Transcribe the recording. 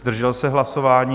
Zdržel se hlasování?